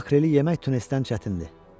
Makreli yemək tunesdən çətindir.